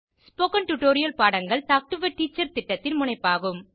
spoken tutorial பாடங்கள் talk to a teacher திட்டத்தின் முனைப்பாகும்